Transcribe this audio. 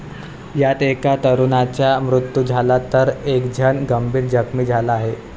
यात एका तरुणाचा मृत्यू झाला तर, एकजण गंभीर जखमी झाला आहे.